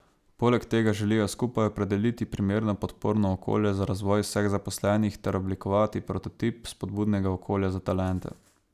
Poleg tega želijo skupaj opredeliti primerno podporno okolje za razvoj vseh zaposlenih ter oblikovati prototip spodbudnega okolja za talente.